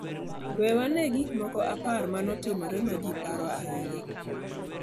We wane ane gik moko apar ma ne otimore ma ji paro ahinya.